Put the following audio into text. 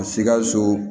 Sikaso